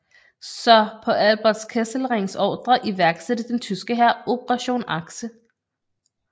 Så på Albert Kesselrings ordre iværksatte den tyske hær Operation Achse